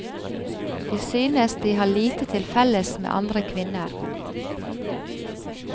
De synes de har lite til felles med andre kvinner.